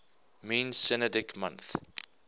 mean synodic month